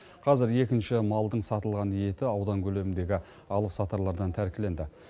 қазір екінші малдың сатылған еті аудан көлеміндегі алып сатарлардан тәркіленді